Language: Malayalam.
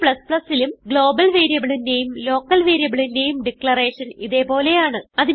Cലും ഗ്ലോബൽ വേരിയബിളിന്റെയും ലോക്കൽ വേരിയബിളിന്റെയും ഡിക്ലറേഷൻ ഇതേ പോലെയാണ്